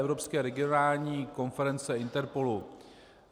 Evropská regionální konference INTERPOLu.